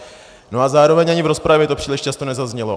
No a zároveň ani v rozpravě to příliš často nezaznělo.